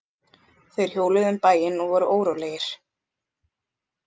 Þeir hjóluðu um bæinn og voru órólegir.